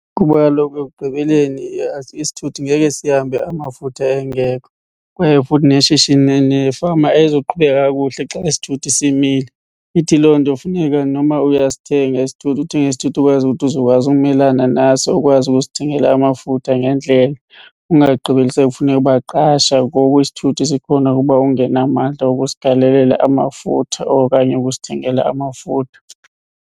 Kuba kaloku ekugqibeleni isithuthi ngeke sihambe amafutha engekho kwaye futhi neshishini nefama ayizoqhubeka kakuhle xa isithuthi simile. Ithi loo nto funeka noma uyasithenga isithuthi uthenge isithuthi okwazi ukuthi uzokwazi umelana naso. Ukwazi ukusithengela amafutha ngendlela ungagqibeli sekufuneka uba qasha ngoku isithuthi sikhona uba ungenamandla wokusigalelela amafutha okanye ukusithengela amafutha.